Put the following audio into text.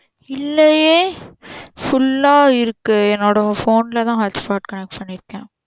இல்லையே full ஆ இருக்கு என்னோட phone ல தான் hotspot connect பன்னிருக்கேன்